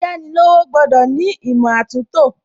Ayánilówó gbọ́dọ̀ ní ìmọ̀ àtúntò